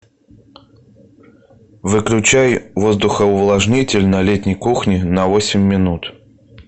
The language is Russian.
выключай воздухоувлажнитель на летней кухне на восемь минут